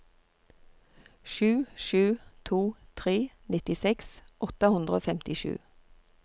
sju sju to tre nittiseks åtte hundre og femtisju